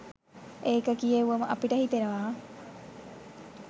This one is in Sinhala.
ඒක කියෙව්වම අපිට හිතෙනවා.